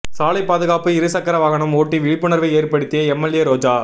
சாலைப் பாதுகாப்பு இரு சக்கர வாகனம் ஓட்டி விழிப்புணா்வை ஏற்படுத்திய எம்எல்ஏ ரோஜா